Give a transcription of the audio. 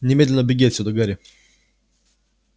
немедленно беги отсюда гарри